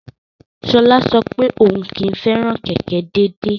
Sola sọ pé òun kì í fẹ́ràn kẹ̀kẹ́ déédéé.